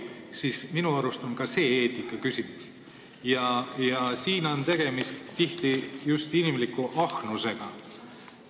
Siin on tihti tegemist just inimliku ahnusega.